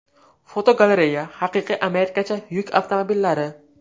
Fotogalereya: Haqiqiy amerikacha yuk avtomobillari.